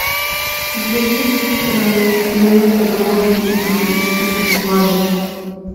у тебя есть кинолента голодные игры и вспыхнет пламя